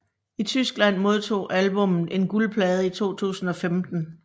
I Tyskland modtog albummet en guldplade i 2015